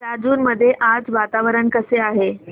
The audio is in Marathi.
राजूर मध्ये आज वातावरण कसे आहे